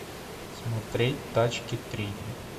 смотреть тачки три